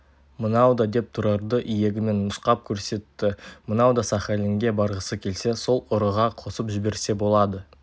мынау да деп тұрарды иегімен нұсқап көрсетті мынау да сахалинге барғысы келсе сол ұрыға қосып жіберсе болады